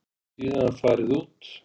Síðan farið út.